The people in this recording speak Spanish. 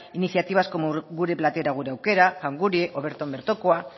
iniciativa como gure platera gure aukera jangurie o berton bertokoa